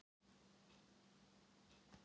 Hvar er guð og hver er guð?